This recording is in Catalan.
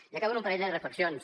i acabo amb un parell de reflexions